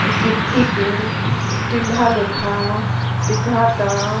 गिट्टी के टिल्हा लेखा दिखाता।